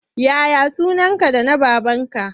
Ya ya sunanka da na babanka?